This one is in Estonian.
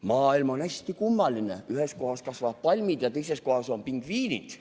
Maailm on hästi kummaline, ühes kohas kasvavad palmid ja teises kohas on pingviinid.